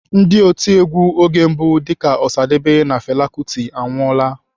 Ndị otiegwu oge mbụ dịka Osadebe na Fela Kuti anwụọla.